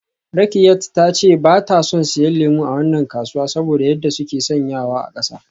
Rakkiat ta ce ba ta son siyan lemu a wannan kasuwa saboda yadda suke sanyawa a kasa.